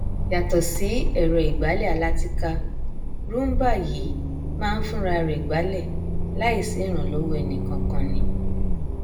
yàtọ sí ẹrọìgbálẹ alátìká roomba yìí máa nfúnrarẹ gbálẹ láì sí ìrànlọwọ enìkankan ni